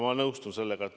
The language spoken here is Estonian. Ma nõustun sellega.